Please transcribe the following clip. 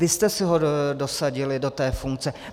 Vy jste si ho dosadili do té funkce.